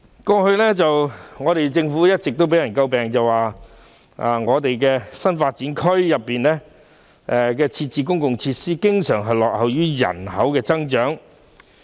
過去，政府一直被人詬病，指在新發展區內設置的公共設施，經常落後於人口的增長。